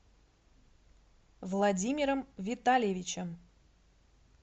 владимиром витальевичем